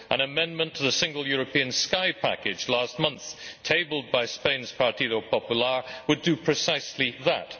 An amendment to the Single European Sky package last month, tabled by Spain's Partido Popular, would do precisely that.